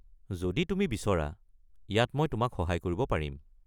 যদি তুমি বিচৰা, ইয়াত মই তোমাক সহায় কৰিব পাৰিম।